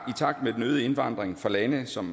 i takt med den øgede indvandring fra lande som